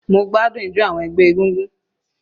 Mo gbádùn ijo àwọn ẹgbẹ́ egúngún.